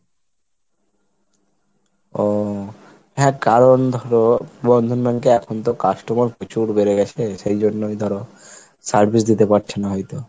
ও হ্যাঁ কারণ ধরো বন্ধন bank এ এখন তো customer প্রচুর বেড়ে গেছে, সেই জন্যই ধরো service দিতে পারছে না হয়তো।